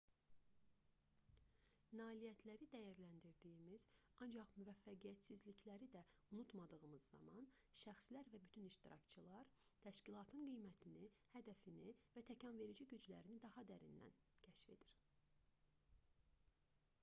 nailiyyətləri dəyərləndirdiyimiz ancaq müvəffəqiyyətsizlikləri da unutmadığımız zaman şəxslər və bütün iştirakçılar təşkilatın qiymətini hədəfini və təkanverici güclərini daha dərindən kəşf edir